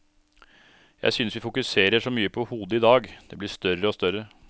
Jeg synes vi fokuserer så mye på hodet i dag, det blir større og større.